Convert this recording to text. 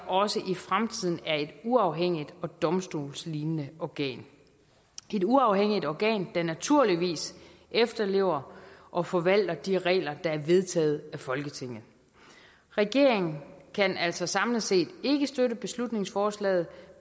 også i fremtiden er et uafhængigt og domstolslignende organ et uafhængigt organ der naturligvis efterlever og forvalter de regler der er vedtaget af folketinget regeringen kan altså samlet set ikke støtte beslutningsforslaget